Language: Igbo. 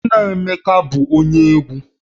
Nna Emeka bụ onye egwu